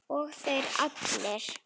Og þeir allir!